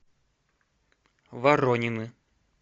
воронины